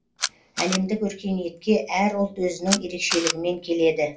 әлемдік өркениетке әр ұлт өзінің ерекшелігімен келеді